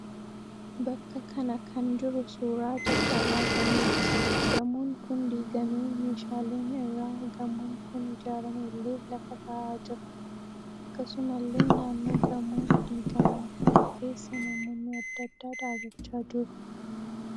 Bakka kana kan jiru suuraa caccabaa gamooti. Gamoon kun diigamee meeshaaleen irraa gamoon kun ijaarame illee lafa taa'aa jira. Akkasumallee naannoo gamoo diigamaa kana keessa namoonni adda addaa dhaabbachaa jiru.